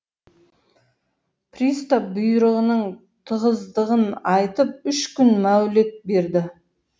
пристоп бұйрығының тығыздығын айтып үш күн мәулет берді